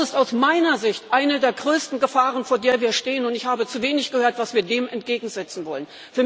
Das ist aus meiner Sicht eine der größten Gefahren, vor der wir stehen, und ich habe zu wenig gehört, was wir dem entgegensetzen wollen.